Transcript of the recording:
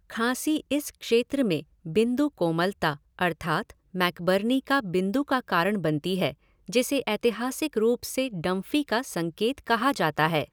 खाँसी इस क्षेत्र में बिंदु कोमलता अर्थात मैकबर्नी का बिंदु का कारण बनती है, जिसे ऐतिहासिक रूप से डंफी का संकेत कहा जाता है।